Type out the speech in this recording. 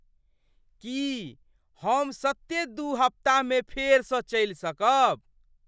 की हम सत्ते दू हप्तामे फेर सँ चलि सकब?